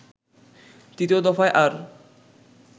তৃতীয় দফায় আর